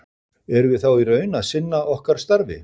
Erum við þá í raun að sinna okkar starfi?